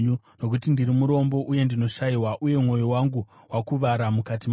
Nokuti ndiri murombo uye ndinoshayiwa, uye mwoyo wangu wakuvara mukati mangu.